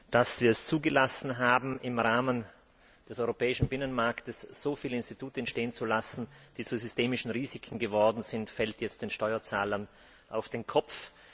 Dass wir es zugelassen haben, im Rahmen des europäischen Binnenmarkts so viele Institute entstehen zu lassen, die zu systemischen Risiken geworden sind, fällt jetzt den Steuerzahlern auf den Kopf.